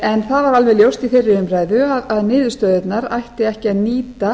en það var alveg ljóst í þeirri umræðu að niðurstöðurnar ætti ekki að nýta